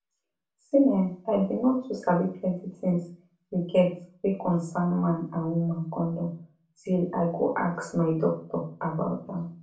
see[um]i bin no too sabi plenty tins you get wey concern man and woman condom till i go ask my doctor about am